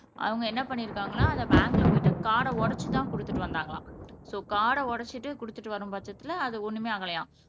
அவங்க என்ன பண்ணிருக்காங்கன்னா அதை பேங்க்ல போயிட்டு கார்ட உடைச்சுதான் கொடுத்துட்டு வந்தாங்களாம் சோ கார்ட உடைச்சிட்டு கொடுத்துட்டு வரும் பட்சத்துல அது ஒண்ணுமே ஆகலையாம்